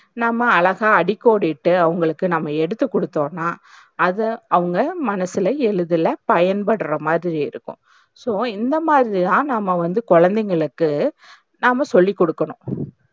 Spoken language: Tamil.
நாம்ம அழகா அடிக்கோடிட்டி அவங்களுக்கு நாம்ம எடுத்துக்கொடுத்தோம்னா, அத அவங்க மனசுல எழுதல பயன்படற மாதிரி இருக்கும். so இந்த மாதிரிதான் நாம்ம வந்து கொழந்தைகளுக்கு நாம்ம சொல்லிக்கொடுக்கணும்.